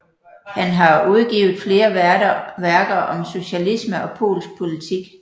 Han har udgivnet flere værker om socialisme og polsk politik